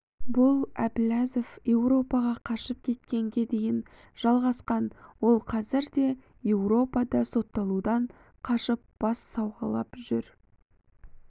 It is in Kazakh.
бұл әбіләзов еуропаға қашып кеткенге дейін жалғасқан ол қазір де еуропада сотталудан қашып бас сауғалап жүр